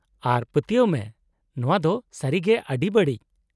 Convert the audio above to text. -ᱟᱨ ᱯᱟᱹᱛᱭᱟᱹᱜ ᱢᱮ, ᱱᱚᱶᱟ ᱫᱚ ᱥᱟᱹᱨᱤᱜᱮ ᱟᱹᱰᱤ ᱵᱟᱹᱲᱤᱡ ᱾